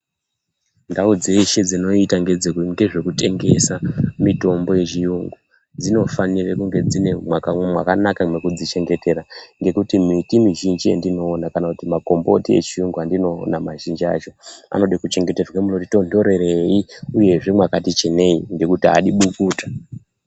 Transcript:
Ndau dzeshe dzinoita ngezvekutengesa mitombo yechiyungu dzinofanire kunge dzine mwakanaka mwekudzi chengetera ngekuti miti mizhinji yandiona kana kuti makomboti echiyungu andinoona mazhinji acho anode kuchengeterwe munoti tondereii uye zvee mwakati chenei ngokuti haadi bukutu.